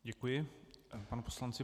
Děkuji panu poslanci.